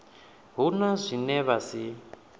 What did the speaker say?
hu na zwine vha si